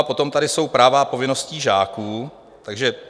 A potom tady jsou práva a povinnosti žáků: "(a)